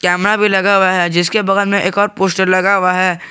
Camera भी लगा हुआ है जिसके बगल में एक और पोस्टर लगा हुआ है।